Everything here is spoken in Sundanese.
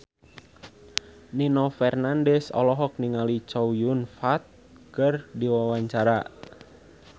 Nino Fernandez olohok ningali Chow Yun Fat keur diwawancara